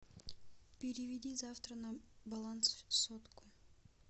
переведи завтра на баланс сотку